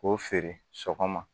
K'o feere sɔgɔma